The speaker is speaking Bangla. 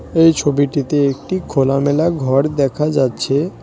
এই ছবিটিতে একটি খোলামেলা ঘর দেখা যাচ্ছে।।